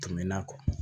Tɛmɛn'a kɔ